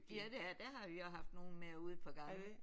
Ja det er. Der har vi også haft nogen med ude et par gange